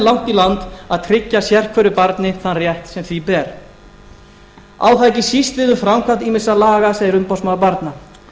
í land að tryggja sérhverju barni þann rétt sem því ber á það ekki síst við um framkvæmd ýmissa laga segir umboðsmaður barna þá